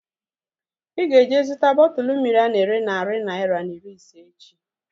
Ịga eje zụta bọtụlu mmiri ana ere narị naira na iri ise echi